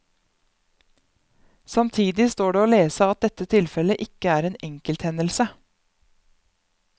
Samtidig står det å lese at dette tilfellet ikke er en enkelthendelse.